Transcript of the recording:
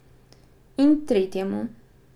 In tretjemu.